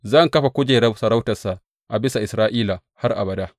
Zan kafa kujerar sarautarsa a bisa Isra’ila har abada.’